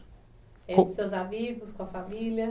Com seus amigos, com a família?